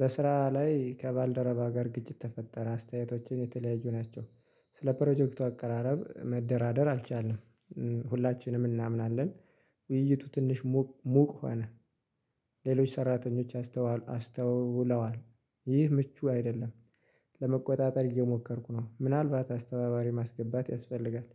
በስራ ላይ ከባልደረባ ጋር ግጭት ተፈጠረ አስተያየቶችን የተለያዩ ናቸው። ስለ ፕሮጀክቱ አቀራረብ መደራደር አልቻልንም። ሁላችንም እናምናለን። ውይይቱ ትንሽ ሞቅ ሆነ። ሌሎች ሰራተኞች አስተውለዋል። ይህ ምቹ አይደለም። ለመቆጣጠር እየሞከርኩ ነው ምናልባት አስተባባሪ ማስገባት ያስፈልጋል።